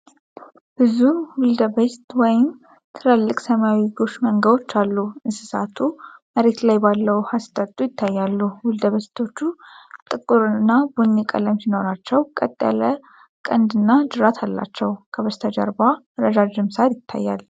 ብዙ ዊልደቤስት ወይም ትልልቅ ሰማያዊ ጎሽ መንጋዎችን አሉ። እንስሳቱ መሬት ላይ ባለው ውሃ ሲጠጡ ይታያሉ። ዊልደቤስቶቹ ጥቁርና ቡኒ ቀለም ሲኖራቸው፣ ቀጥ ያለ ቀንድና ጅራት አላቸው። ከበስተጀርባ ረዣዥም ሳር ይታያል።